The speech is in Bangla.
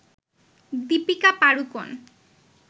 দিপিকা পাডুকোন